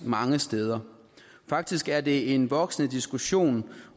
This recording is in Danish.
mange steder faktisk er det en voksende diskussion